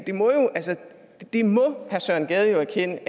det må herre søren gade jo erkende